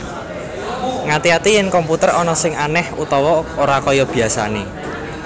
Ngati ati yèn komputer ana sing anèh utawa ora kaya biasané